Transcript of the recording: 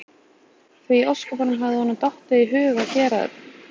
Því í ósköpunum hafði honum honum dottið í hug að gera þetta?